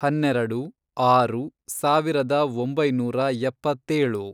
ಹನ್ನೆರೆಡು, ಆರು, ಸಾವಿರದ ಒಂಬೈನೂರ ಎಪ್ಪತ್ತೇಳು